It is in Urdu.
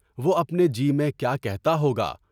وہ اپنے جی میں کیا کہتا ہوگا؟